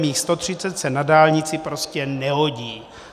Mých 130 se na dálnici prostě nehodí.